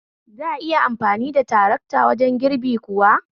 Za'a iya amfani da tarakta wajen girbi kuwa?